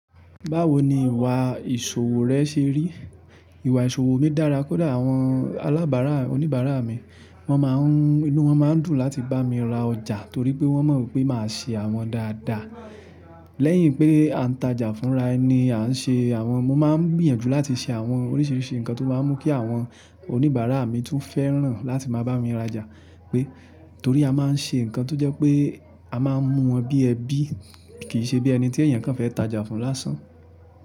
Báwo ni ìwà ìṣòwò rẹ ṣe rí? Ìwà ìṣòwò mi dára kódà àwọn alábàárà, oníbàárà mi wọ́n máa ń, inú wọn máa ń dùn láti bá mi ra ọjà torí pé wọ́n mọ̀ pé màá ṣe àwọn dáadáa. Lẹ́yìn pé a ń tajà fúnra ẹni a ń ṣe àwọn, mo máa ń gbìyànjú láti ṣe àwọn oríṣiríṣi nǹkan tó máa ń mú kí àwọn oníbàárà mi tún fẹ́ràn láti máa bá mi rajà. Torí a máa ń ṣe nǹkan tó jẹ́ pé a máa ń mú wọn bí ẹbí kì í ṣe bí ẹni tí ẹ̀yàn kan fẹ́ tajà fun lásán.